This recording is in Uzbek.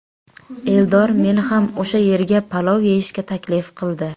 Eldor meni ham o‘sha yerga palov yeyishga taklif qildi.